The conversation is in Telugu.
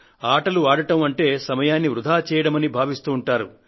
ఆటలు ఆడడం అంటే సమయాన్ని వృథా చేయడమని భావిస్తూ ఉంటారు